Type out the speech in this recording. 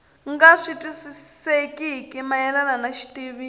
nga twisisekeki mayelana ni xitiviso